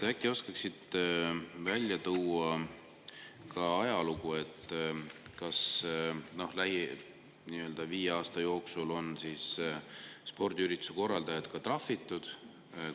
Äkki oskaksite välja tuua ka ajalugu, kas viimase viie aasta jooksul on spordiürituse korraldajaid ka trahvitud?